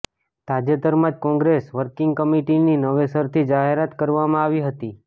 તાજેતરમાં જ કોંગ્રેસ વર્કિંગ કમિટીની નવેસરથી જાહેરાત કરવામાં આવી હતી